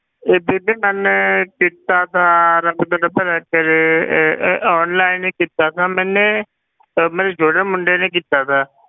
ਇਹ ਬੀਬੀ ਮੈਂ ਕੀਤਾ ਸੀ ਰੱਬ ਤੁਹਾਡਾ ਭਲਾ ਕਰੇ ਇਹ ਇਹ ਇਹ online ਹੀ ਕੀਤਾ ਸੀ ਮੈਨੇ ਅਹ ਮੇਰੇ ਛੋਟੇ ਮੁੰਡੇ ਨੇ ਕੀਤਾ ਸੀ।